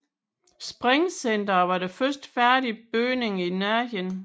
Springcenteret var den første færdige bygning i Nærheden